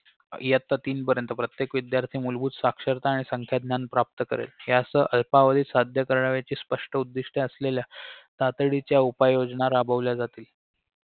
इयत्ता तीन पर्यंत प्रत्येक विध्यार्थी मूलभूत साक्षरता आणि संख्याज्ञान प्राप्त करेल यासह अल्पावधीत साध्य करावयाचे स्पष्ट उद्दिष्ट असेलेल्या तातडीच्या उपाययोजना राबवल्या जातील